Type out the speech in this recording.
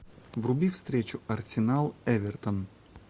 вруби встречу арсенал эвертон